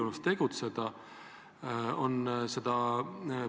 Nii palju kui ma kursis olen, on Viive Aasma, ütleme, arusaamatus EAS-iga läbinud prokuratuuri.